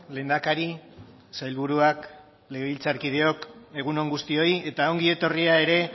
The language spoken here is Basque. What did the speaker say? lehendakari sailburuak legebiltzarkideok egun on guztioi eta ongi etorria ere